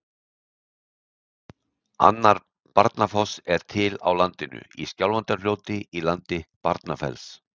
Annar Barnafoss er til á landinu, í Skjálfandafljóti í landi Barnafells.